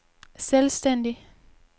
selvstændig